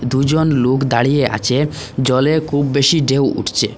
দুজন লোক দাঁড়িয়ে আছে জলে খুব বেশি ঢেউ উঠছে।